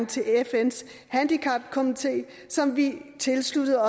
til fns handicapkomité som vi tiltrådte